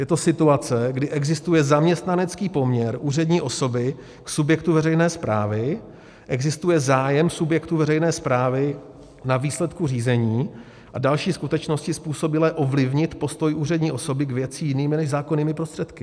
Je to situace, kdy existuje zaměstnanecký poměr úřední osoby k subjektu veřejné správy, existuje zájem subjektu veřejné správy na výsledku řízení a další skutečnosti způsobilé ovlivnit postoj úřední osoby k věci jinými než zákonnými prostředky.